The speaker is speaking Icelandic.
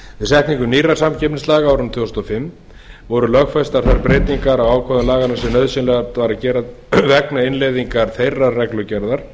setningu nýrra samkeppnislaga á árinu tvö þúsund og fimm voru lögfestar þær breytingar á ákvæðum laganna sem nauðsynlegt var að gera vegna innleiðingar þeirrar reglugerðar